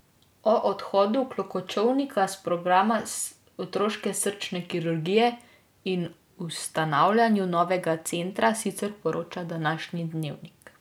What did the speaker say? O odhodu Klokočovnika s programa otroške srčne kirurgije in ustanavljanju novega centra sicer poroča današnji Dnevnik.